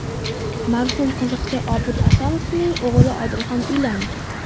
Marhum qiziqchi Obid Asomovning o‘g‘li Odilxon uylandi .